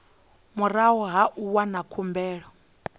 murahu ha u wana khumbelo